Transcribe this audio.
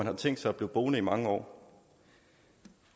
har tænkt sig at blive boende i mange år